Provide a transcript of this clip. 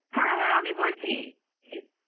হ্যাঁ হ্যাঁ আমি বলছি